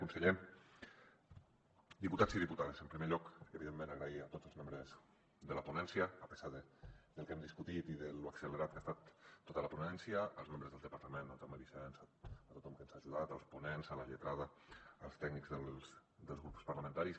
conseller diputats i diputades en primer lloc evidentment donar les gràcies a tots els membres de la ponència a pesar del que hem discutit i de lo accelerada que ha estat tota la ponència als membres del departament el jaume vicens a tothom que ens ha ajudat als ponents a la lletrada als tècnics dels grups parlamentaris